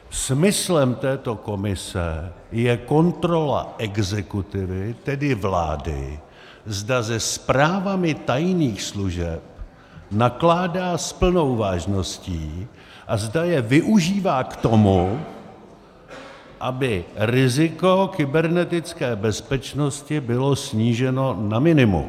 Smyslem této komise je kontrola exekutivy, tedy vlády, zda se zprávami tajných služeb nakládá s plnou vážností a zda je využívá k tomu, aby riziko kybernetické bezpečnosti bylo sníženo na minimum.